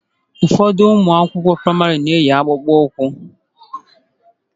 Ụfọdụ ụmụ akwụkwọ praịmarị na-eyi akpụkpọ ụkwụ